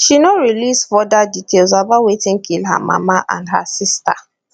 she no release further details about wetin kill her mama and her sister